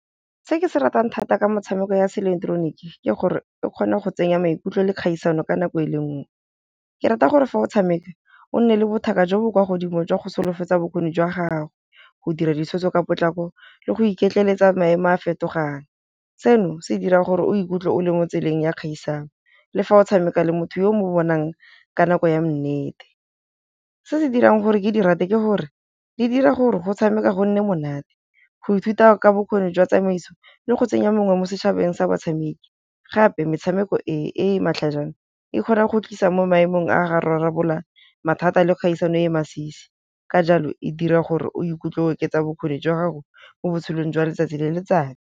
Se ke se ratang thata ka motshameko ya se ileketeroniki ke gore e kgona go tsenya maikutlo le kgaisano ka nako e le nngwe. Ke rata gore fa o tshameka o nne le bothaka jo bo kwa godimo jwa go solofetsa bokgoni jwa gago, go dira ditshwetso ka potlako le go iketleletsa maemo a fetogang, seno se dira gore o ikutlwe o le mo tseleng ya kgaisano le fa o tshameka le motho yo mo bonang ka nako ya nnete. Se se dirang gore ke di rate ke gore di dira gore go tshameka go nne monate, go ithuta ka bokgoni jwa tsamaiso le go tsenya mongwe mo setšhabeng sa batshameki, gape metshameko e e matlhajana e kgona go tlisa mo maemong a ga rarabolla mathata a le kgaisano e masisi ka jalo e dira gore o ikutlwe oketsa bokgoni jwa gago mo botshelong jwa letsatsi le letsatsi.